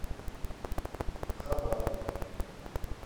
хабарове